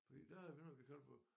Fordi der er noget vi kalder for